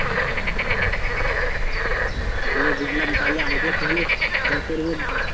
হ্যাঁ বুঝলাম তাহলে আগে তাহলে যা করবে